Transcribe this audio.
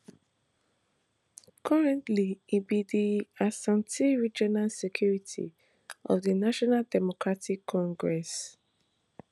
currently e be di ashanti regional secretary of di national democratic congress